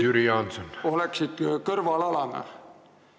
... see koolitus oleks programmis kõrvalerialana.